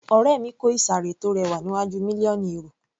Ọ̀rẹ́ mi kò ìsàré tó rẹwà níwájú mílíọ̀nù èrò